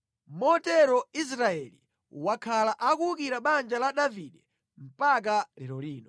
Motero Israeli wakhala akuwukira banja la Davide mpaka lero lino.